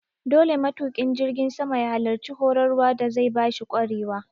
Dole matuƙin jirgin sama ya halarci horar wa da zai bashi ƙwarewa